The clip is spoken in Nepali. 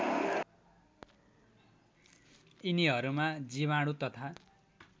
यिनीहरूमा जीवाणु तथा